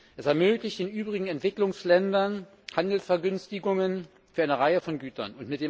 Es ermöglicht im Übrigen Entwicklungsländern Handelsvergünstigungen für eine Reihe von Gütern.